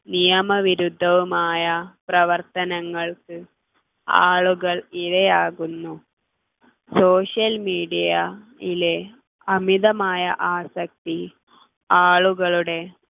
നിയമവിരുദ്ധവുമായ പ്രവർത്തനങ്ങൾക്ക് ആളുകൾ ഇരയാകുന്നു social media യിലെ അമിതമായ ആസക്തി ആളുകളുടെ